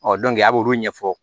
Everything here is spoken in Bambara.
a b'olu ɲɛfɔ